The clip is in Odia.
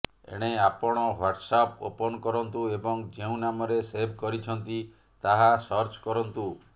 ଏବେ ଆପଣ ହ୍ବାଟ୍ସଆପ ଓପନ କରନ୍ତୁ ଏବଂ ଯେଉଁ ନାମରେ ସେଭ୍ କରିଛନ୍ତି ତାହା ସର୍ଚ୍ଚ କରନ୍ତୁ